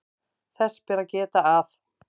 Þess ber að geta að